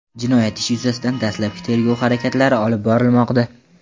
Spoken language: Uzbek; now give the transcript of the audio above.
Jinoyat ishi yuzasidan dastlabki tergov harakatlari olib borilmoqda.